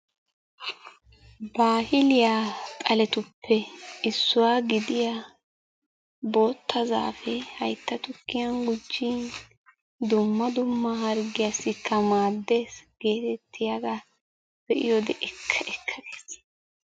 baahiliyaa zaaletuppe issuwaa gidiyaa bootta zaapee haytta tuukiyan gujjin dumma dumma hargiyaasikka maaddees. getetiyaagaa be'iyoode ekka ekka gees.